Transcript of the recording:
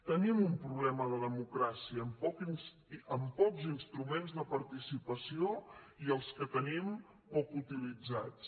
tenim un problema de democràcia amb pocs instruments de participació i els que tenim poc utilitzats